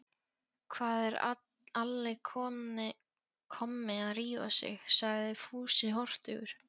Hvað er Alli kommi að rífa sig? sagði Fúsi hortugur.